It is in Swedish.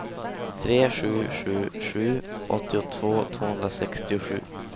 tre sju sju sju åttiotvå tvåhundrasextiosju